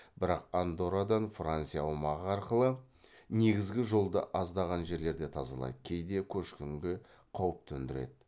бірақ андоррадан франция аумағы арқылы негізгі жолды аздаған жерлерде тазалайды кейде көшкінге қауіп төндіреді